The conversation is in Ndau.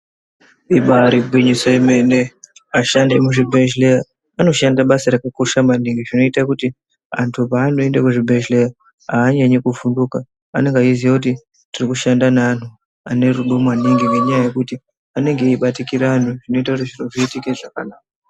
Ibaari gwinyiso yemene, ashandi emuzvibhedhleya, anoshanda basa rakakosha maningi ,zvinoita kuti antu paanoende kuzvibhedhleya aanyanyi kuvhunduka, anonga eiziya kuti tiri kushanda neantu, ane rudo maningi, ngenyaya yekuti anenga eibatikira anhu, zvinoita kuti zviro zviitike zvakanaka.